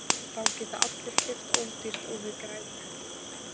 Þá geta allir keypt ódýrt og við græðum helling!